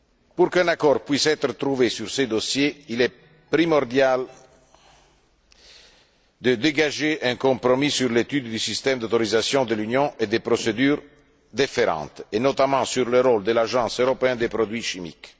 Pour qu'un accord puisse être trouvé sur ce dossier, il est primordial de dégager un compromis sur l'étude du système d'autorisation de l'Union et des procédures y afférentes, et notamment sur le rôle de l'Agence européenne des produits chimiques.